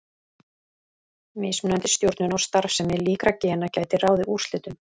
Mismunandi stjórnun á starfsemi líkra gena gæti ráðið úrslitum.